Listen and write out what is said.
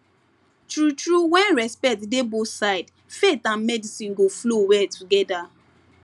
true true when respect dey both sides faith and medicine go flow well together